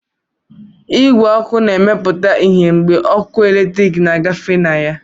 Igwe ọkụ na-emepụta ìhè mgbe ọkụ eletrik na-agafe na ha